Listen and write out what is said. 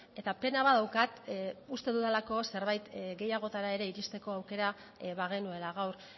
eta pena bat daukat uste dudalako zerbait gehiagotara ere iristeko aukera bagenuela gaur